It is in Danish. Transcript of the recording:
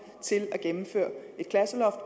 til at gennemføre et klasseloft